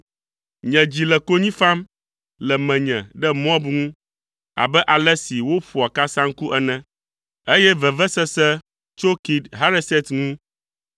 Nye dzi le konyi fam le menye ɖe Moab ŋu abe ale si woƒoa kasaŋku ene, eye vevesese tso Kir Hareset ŋu.